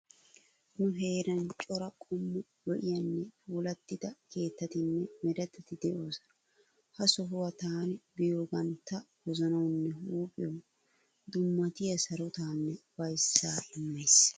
Nu heeran cora qommo lo'iyanne puullatida keettatinne meretati de'oosona. Ha sohuwa taani biyoogan ta wozanawunne huuphiyawu dummatiya sarotaanne ufayissaa immayiis.